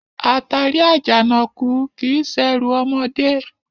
Àtàrí Àjànàkú kìí ṣerù ọmọdé